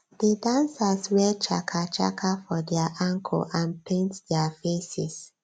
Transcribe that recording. di dancers wear chaka chaka for dia ankle and paint dia faces